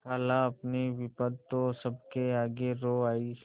खालाअपनी विपद तो सबके आगे रो आयी